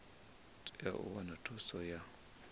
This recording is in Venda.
tea u wana thuso ya